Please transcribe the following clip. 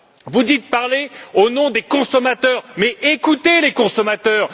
Vous dites parler au nom des consommateurs, mais écoutez les consommateurs!